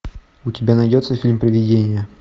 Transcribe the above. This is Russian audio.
у тебя найдется фильм привидение